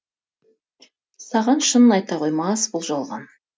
саған шынын айта қоймас бұл жалған